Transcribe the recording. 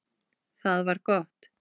Það var gott